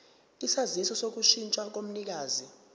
isaziso sokushintsha komnikazi